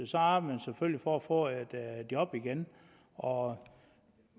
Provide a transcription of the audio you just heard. så arbejder man selvfølgelig for at få et job igen og